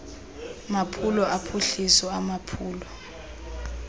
maphulo ophuhliso amaphulo